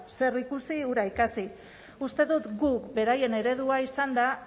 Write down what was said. zer ikusi hura ikasi uste dut gu beraien eredua izanda